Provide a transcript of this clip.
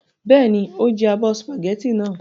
Bẹ́ẹ̀ni, o jẹ abọ́ sìpàgẹ́tì náà.